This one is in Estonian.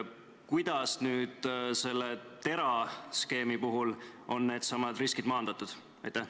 Kuidas nüüd selle TERA skeemi puhul on needsamad riskid maandatud?